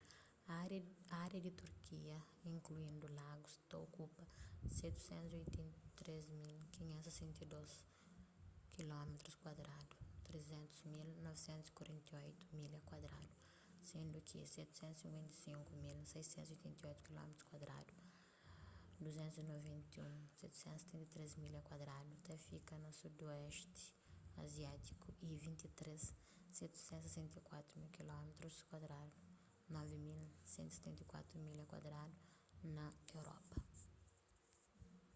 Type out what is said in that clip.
ária di turquia inkluindu lagus ta okupa 783.562 kilómitrus kuadradu 300.948 milha kuadradu sendu ki 755.688 kilómitrus kuadradu 291.773 milha kuadradu ta fika na sudoesti aziátiku y 23.764 kilómitrus kuadradu 9.174 milha kuadradu na europa